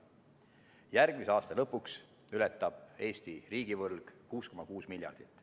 Järgmise aasta lõpuks ületab Eesti riigivõlg 6,6 miljardit.